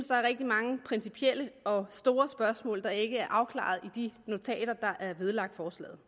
der er rigtig mange principielle og store spørgsmål der ikke er afklaret i de notater der er vedlagt forslaget